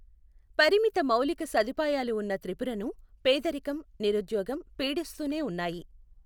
పరిమిత మౌలిక సదుపాయాలు ఉన్న త్రిపురను పేదరికం, నిరుద్యోగం పీడిస్తూనే ఉన్నాయి.